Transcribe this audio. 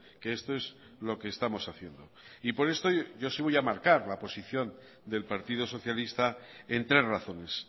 que esto es lo que estamos haciendo y por esto yo sí voy a marcar la posición del partido socialista en tres razones